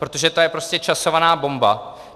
Protože to je prostě časovaná bomba.